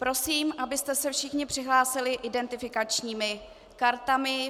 Prosím, abyste se všichni přihlásili identifikačními kartami.